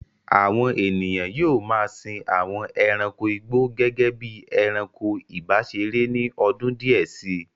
Àwọn ènìyàn yóò ma a sin àwọn ẹranko igbó gẹ́gẹ́ bí i ẹranko ìbáseré ní ọdún díẹ̀ sí.